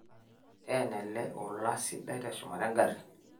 teena ele ola sidai teshumata engarri